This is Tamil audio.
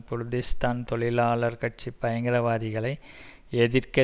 குர்திஷ் தான் தொழிலாளர் கட்சி பயங்கரவாதிகளை எதிர்க்க